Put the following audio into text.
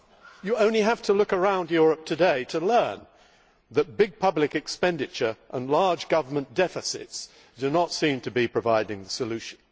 You only have to look around Europe today to learn that big public expenditure and large government deficits do not seem to be providing the solution.